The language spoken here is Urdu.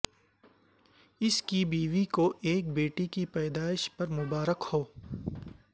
اس کی بیوی کو ایک بیٹی کی پیدائش پر مبارک ہو